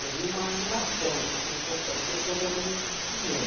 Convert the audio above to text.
Eu vi uma animação, assim, eu falei, pô, pareceu coisa realmente de cinema.